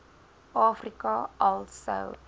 afrika al sou